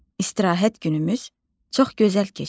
İstirahət günümüz çox gözəl keçdi.